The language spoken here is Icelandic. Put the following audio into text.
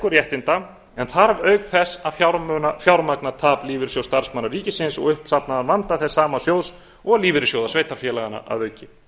réttinda en þarf auk þess að fjármagna tap lífeyrissjóðs starfsmanna ríkisins og uppsafnaðan vanda þess sama sjóðs og lífeyrissjóða sveitarfélaganna að auki